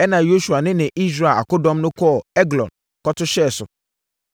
Ɛnna Yosua ne ne Israel akodɔm no kɔɔ Eglon kɔto hyɛɛ so.